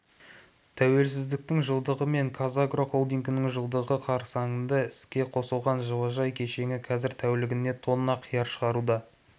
тәуелсіздіктің жылдығы мен қазагро холдингінің жылдығы қарсаңында іске қосылған жылыжай кешені қазір тәулігіне тонна қияр шығаруда